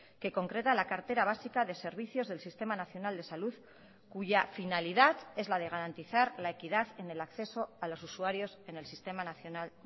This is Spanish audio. que concreta la cartera básica de servicios del sistema nacional de salud cuya finalidad es la de garantizar la equidad en el acceso a los usuarios en el sistema nacional